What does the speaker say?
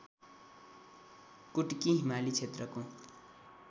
कुट्की हिमाली क्षेत्रको